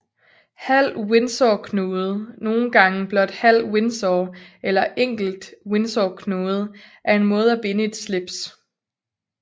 Halv windsorknude nogle gange blot halv windsor eller enkelt windsorknude er en måde at binde et slips